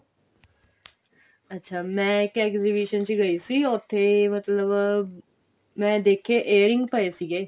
ਅੱਛਾ ਮੈਂ ਇੱਕ exhibition ਚ ਗਈ ਸੀ ਉੱਥੇ ਮਤਲਬ ਮੈਂ ਦੇਖੇ earrings ਪਏ ਸੀਗੇ